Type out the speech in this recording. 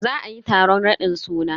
Za ayi taron raɗin suna.